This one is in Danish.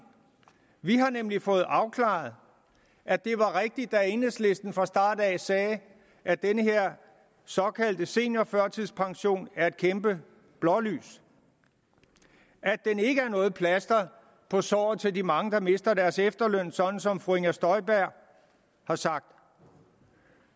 vi har nemlig fået afklaret at det var rigtigt da enhedslisten fra start af sagde at den her såkaldte seniorførtidspension er et kæmpe blålys at den ikke er noget plaster på såret for de mange der mister deres efterløn sådan som fru inger støjberg har sagt